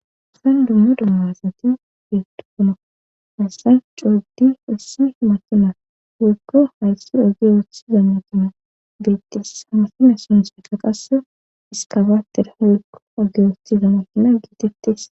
san dumma dummazati yeettukkona asasan cooddi ussi matuna wukko hayssi oge woothiza matuna beettes samasime sonso ka qaso iskabaater hodgo oge woothiza matuna gietettes